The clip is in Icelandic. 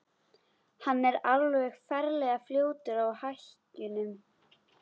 Hann er alveg ferlega fljótur á hækjunum.